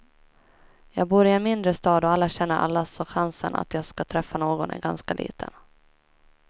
Jag bor i en mindre stad och alla känner alla så chansen att jag ska träffa någon är ganska liten.